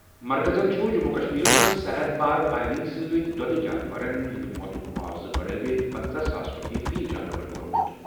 مرکزَن چھُ جموں و کشمیرَس منٛز سرحد پار فائرنگ سۭتۍ دۄدٕ جانورَن ہٕنٛدِ موتُک معاوضہٕ بڑٲوِتھ پٔنژَہ ساس رۄپیہِ فی جانور کوٚرمُت۔